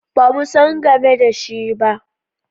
Ba mu san game da shi ba.